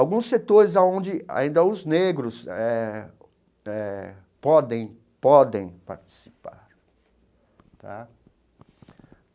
Alguns setores aonde ainda os negros eh eh podem podem participar tá.